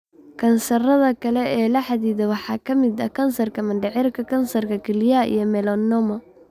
Kansarrada kale ee la xidhiidha waxaa ka mid ah kansarka mindhicirka, kansarka kelyaha iyo melanoma.